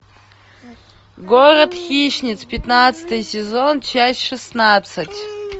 город хищниц пятнадцатый сезон часть шестнадцать